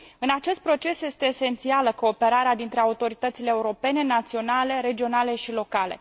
În acest proces este esențială cooperarea dintre autoritățile europene, naționale, regionale și locale.